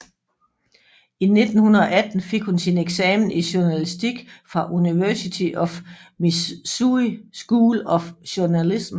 I 1918 fik hun sin eksamen i journalistik fra University of Missouri School of Journalism